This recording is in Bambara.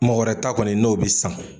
Mɔgɔ wɛrɛ ta kɔni n'o bɛ san.